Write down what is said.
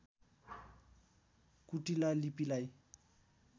कुटिला लिपिलाई